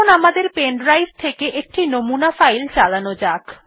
এখন আমাদের pen drive থেকে একটি নমুনা ফাইল চালানো যাক